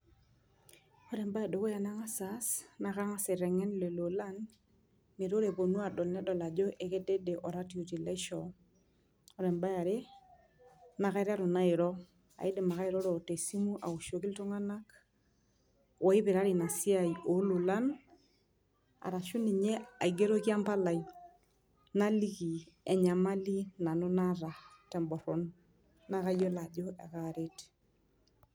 Ore embae edukuya nangas aas naa kangas aitengen lelo olan metaa ore eponu adol naa ekedede oratioti laishoo .Ore eniare ,naa kaiteru naa airo , naa kaidim ake airoro te simu aoshoki iltunganak oipirare ina siai ololan arashu ninye aigeroki empalai naliki enyamali nanu naata te mboron naa kayiolo ajo ekaaret.